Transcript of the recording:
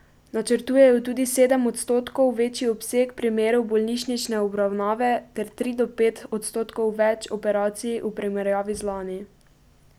Načrtujejo tudi sedem odstotkov večji obseg primerov bolnišnične obravnave ter tri do pet odstotkov več operacij v primerjavi z lani.